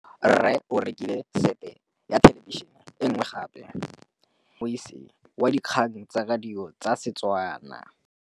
Rre o rekile sete ya thêlêbišênê e nngwe gape. Ke kopane mmuisi w dikgang tsa radio tsa Setswana.